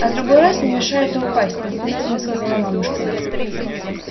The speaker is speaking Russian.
а другой раз не мешает и упасть наставительно сказала мамушка